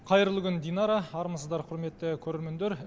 қайырлы күн динара армысыздар құрметті көрермендер